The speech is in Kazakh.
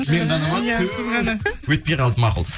мен ғана ма ту өтпей қалды мақұл